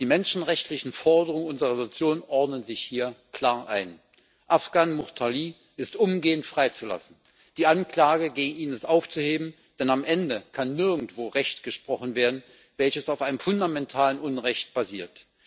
Die menschenrechtlichen Forderungen unserer Entschließung ordnen sich hier klar ein. Äfqan Muxtarlı ist umgehend freizulassen, und die Anklage gegen ihn ist aufzuheben, denn am Ende kann nirgendwo Recht gesprochen werden, welches auf einem fundamentalen Unrecht basiert.